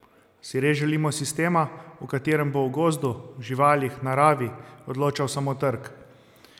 Si res želimo sistema, v katerem bo o gozdu, živalih, naravi odločal samo trg?